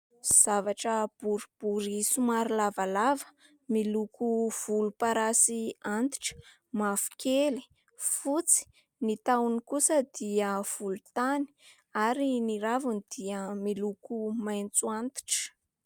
Zavatra boribory somary lavalava, miloko volomparasy antitra, mavokely, fotsy. Ny tahony kosa dia volontany, ary ny raviny dia miloko maitso antitra.